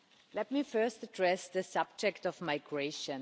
Let me first address the subject of migration.